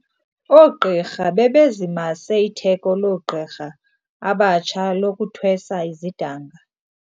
Ooqirha bebezimase itheko loogqirha abatsha lokuthweswa izidanga.